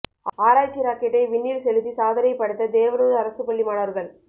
ஆராய்ச்சி ராக்கெட்டை விண்ணில் செலுத்தி சாதனை படைத்த தேவனூர் அரசு பள்ளி மாணவர்கள்